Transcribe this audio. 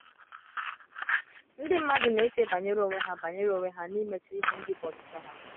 Ndị mmadụ na - eche banyere onwe ha banyere onwe ha na imecha ihe ndị bụ ọchịchọ ha. ”